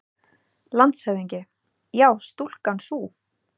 LANDSHÖFÐINGI: Já, stúlkan sú!